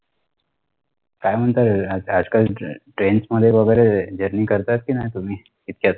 काय म्हणता आजकाल trains मध्ये वगेरे Journey करतात कि नाही तुम्ही इतक्यात